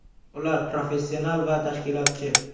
Ular professional va tashkilotchi.